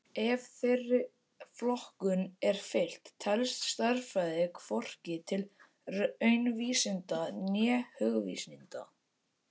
Ef þeirri flokkun er fylgt telst stærðfræði hvorki til raunvísinda né hugvísinda.